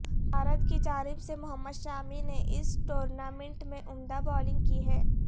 بھارت کی جانب سے محمد شامی نے اس ٹورنامنٹ میں عمدہ بولنگ کی ہے